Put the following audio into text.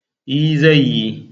E, zai yi.